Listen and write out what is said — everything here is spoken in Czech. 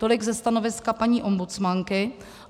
Tolik ze stanoviska paní ombudsmanky.